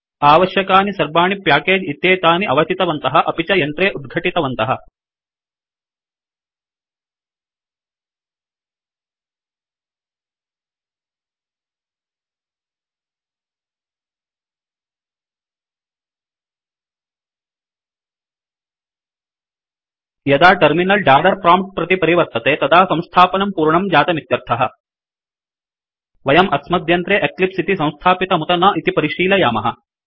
आवश्यकानि सर्वाणि प्याकेज इत्येतानि अवचितवन्तः अपि च यन्त्रे उद्घटितवन्तः यदा टर्मिनल दालर प्रोम्प्ट प्रति परिवर्तते तदा संस्थापनं पूर्णं जातमित्यर्थः वयं अस्मद्यन्त्रे एक्लिप्स इति संस्थापितमुत न इति परिशीलयामः